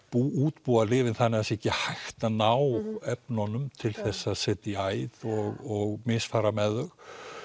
útbúa lyfin þannig að það er ekki hægt að ná efnunum til þess að setja í æð og misfara með þau